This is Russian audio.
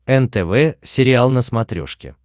нтв сериал на смотрешке